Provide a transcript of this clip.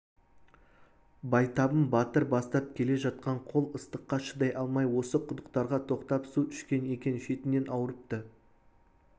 байтабын батыр бастап келе жатқан қол ыстыққа шыдай алмай осы құдықтарға тоқтап су ішкен екен шетінен ауырыпты